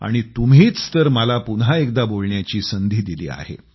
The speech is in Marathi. आणि तुम्हीच तर मला पुन्हा एकदा बोलण्याची संधी दिली आहे